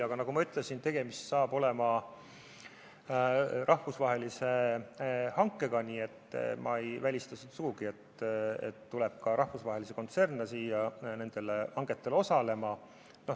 Aga nagu ma ütlesin, saab tegemist olema rahvusvahelise hankega, nii et ma ei välista sugugi, et nendel hangetel osaleb ka rahvusvahelisi kontserne.